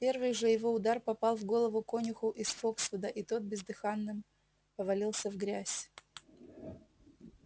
первый же его удар попал в голову конюху из фоксвуда и тот бездыханным повалился в грязь